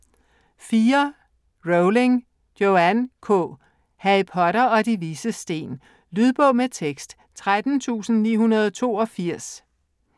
Rowling, Joanne K.: Harry Potter og De Vises Sten Lydbog med tekst 13982